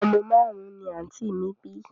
Omo marun-un ni anti mi bi